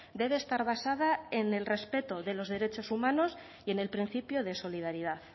debe estar basada en el respeto de los derechos humanos y en el principio de solidaridad